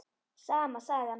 Sama sagan.